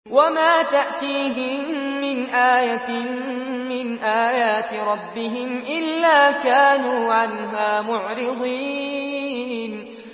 وَمَا تَأْتِيهِم مِّنْ آيَةٍ مِّنْ آيَاتِ رَبِّهِمْ إِلَّا كَانُوا عَنْهَا مُعْرِضِينَ